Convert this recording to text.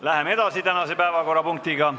Läheme edasi teise päevakorrapunktiga.